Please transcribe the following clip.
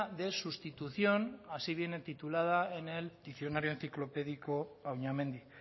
de sustitución así viene titulada en el diccionario enciclopédico auñamendi